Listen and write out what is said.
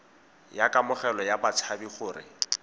ya kamogelo ya batshabi gore